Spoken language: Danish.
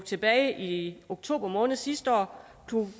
tilbage i oktober måned sidste år